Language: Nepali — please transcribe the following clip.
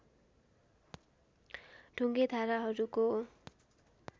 ढुङ्गे धाराहरूको